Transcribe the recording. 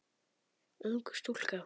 Ung stúlka.